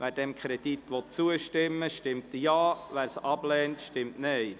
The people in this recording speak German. Wer dem Kredit zustimmen will, stimmt Ja, wer diesen ablehnt, stimmt Nein.